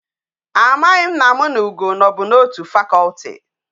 Amaghim na m na ugo no bu na otu faculty